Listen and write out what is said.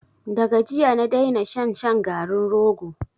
Da ga jiya na daina shan shan garin rogo.